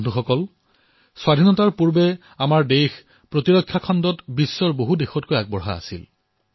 বন্ধুসকল স্বাধীনতাৰ পূৰ্বে আমাৰ দেশ প্ৰতিৰক্ষা খণ্ডত বিশ্বৰ বহু দেশতকৈ আগবঢ়া আছিল